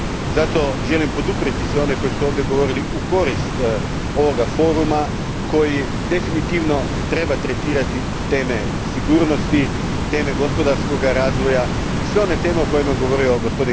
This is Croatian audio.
Zato želim poduprijeti sve one koji su ovdje govorili u korist ovoga foruma koji definitivno treba tretirati teme sigurnosti, teme gospodarskog razvoja i sve one teme o kojima su govorili g.